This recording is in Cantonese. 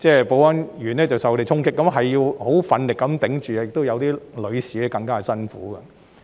保安員受到他們衝擊，需要奮力抵抗，有部分女保安員更為辛苦。